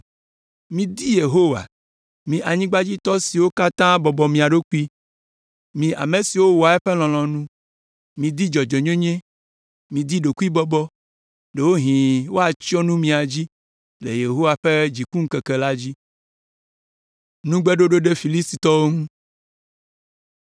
Midi Yehowa, mi anyigbadzitɔ siwo katã bɔbɔ mia ɖokui, mi ame siwo wɔa eƒe lɔlɔ̃nu. Midi dzɔdzɔenyenye, midi ɖokuibɔbɔ; ɖewohĩ woatsyɔ nu mia dzi le Yehowa ƒe dzikuŋkeke la dzi.